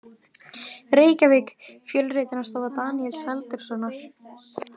Reykjavík: Fjölritunarstofa Daníels Halldórssonar.